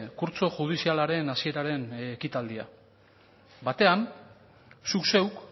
kurtso judizialaren hasieraren ekitaldia batean zuk zeuk